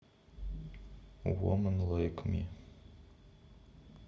вуман лайк ми